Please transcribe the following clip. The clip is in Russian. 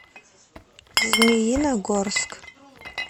змеиногорск